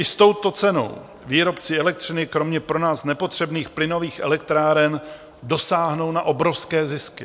I s touto cenou výrobci elektřiny kromě pro nás nepotřebných plynových elektráren dosáhnou na obrovské zisky.